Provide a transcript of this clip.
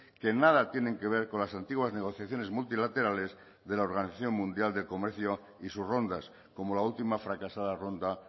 que nada tienen que ver con las antiguas negociaciones multilaterales de la organización mundial de comercio y sus rondas como la última fracasada ronda